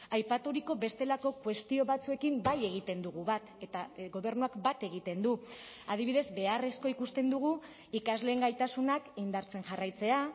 aipaturiko bestelako kuestio batzuekin bai egiten dugu bat eta gobernuak bat egiten du adibidez beharrezkoa ikusten dugu ikasleen gaitasunak indartzen jarraitzea